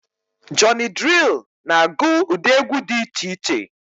Jọny Drịl na agụ ụdị egwu dị iche iche